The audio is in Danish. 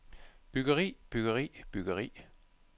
byggeri byggeri byggeri